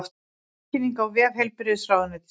Tilkynningin á vef heilbrigðisráðuneytisins